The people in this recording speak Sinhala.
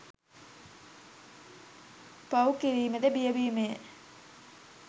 පව් කිරීමට බිය වීමය.